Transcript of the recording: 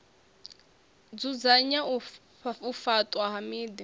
dzudzanya u faṱwa ha miḓi